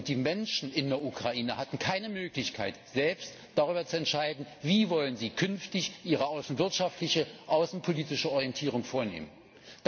Und die Menschen in der Ukraine hatten keine Möglichkeit, selbst darüber zu entscheiden, wie sie künftig ihre außenwirtschaftliche, außenpolitische Orientierung vornehmen wollen.